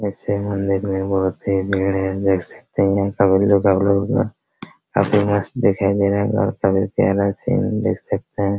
इसी मंदिर में बहुत ही भीड़ है देख सकते हैं काफी मस्त दिखाई दे रहा है देख सकते हैं ।